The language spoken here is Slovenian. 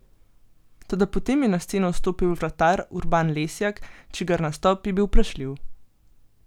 Toda potem je na sceno stopil vratar Urban Lesjak, čigar nastop je bil vprašljiv.